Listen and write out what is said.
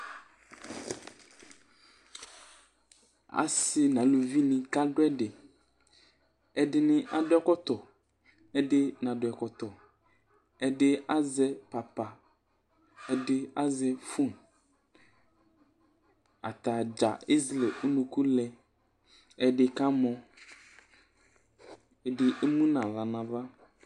Asɩ nʋ aluvinɩ kadʋ ɛdɩ Ɛdɩnɩ adʋ ɛkɔtɔ, ɛdɩ nadʋ ɛkɔtɔ, ɛdɩ azɛpapa, ɛdɩ azɛ fon Ata dza ezele unuku lɛ, ɛdɩ kamɔ, ɛdɩ emu nʋ aɣla nʋ ava